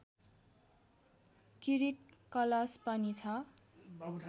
किरीट कलश पनि छ